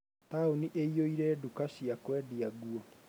Taũni ĩĩyuire nduka cia kwendia nguo.